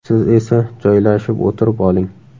Siz esa joylashib o‘tirib oling.